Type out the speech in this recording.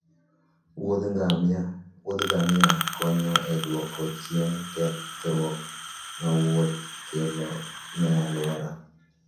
wuodh gamia konyo e duoko chien kethruok ma wuoth kelo ne alwora